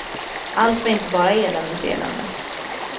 Allt var inte bara eländes elände.